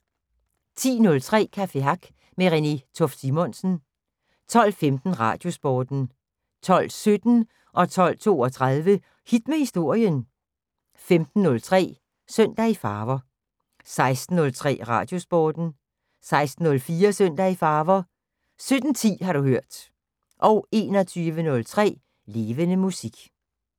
10:03: Café Hack med Renée Toft Simonsen 12:15: Radiosporten 12:17: Hit med historien 12:32: Hit med historien 15:03: Søndag i Farver 16:03: Radiosporten 16:04: Søndag i Farver 17:10: Har du hørt 21:03: Levende Musik